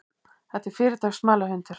Þetta er fyrirtaks smalahundur.